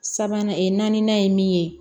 Sabanan naaninan ye min ye